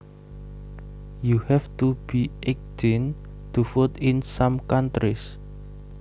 You have to be eighteen to vote in some countries